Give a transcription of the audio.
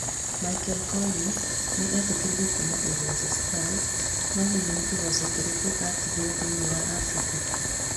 Mikel Collins nĩ eetĩkĩrire kuuma Ulinzi Stars, no hihi nĩ Kĩgoco kĩrĩkũ atigairie thĩinĩ wa Afrika?